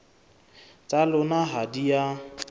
tsa lona ha di a